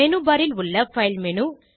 menu bar ல் உள்ள file menu